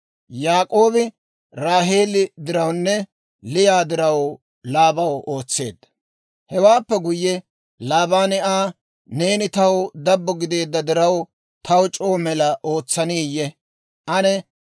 Hewaappe guyye Laabaani Aa, «Neeni taw dabbo gideedda diraw, taw c'oo mela ootsaniyee? Ane new ayaa c'igganaw bessintto taw oda» yaageedda.